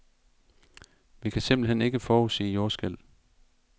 Vi kan simpelthen ikke forudsige jordskælv.